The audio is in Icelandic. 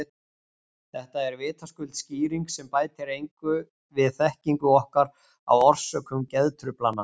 Þetta er vitaskuld skýring sem bætir engu við þekkingu okkar á orsökum geðtruflana.